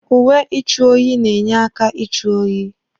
Uwe ịchụ oyi na-enye aka ịchụ oyi.